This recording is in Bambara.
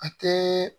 A kɛ